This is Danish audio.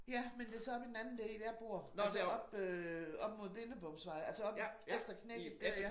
Ja men det så oppe i den anden del jeg bor altså oppe øh oppe mod Blindebomsvej altså oppe efter knækket dér ja